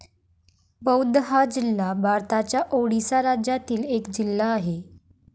बौध हा जिल्हा भारताच्या ओडिसा राज्यातील एक जिल्हा आहे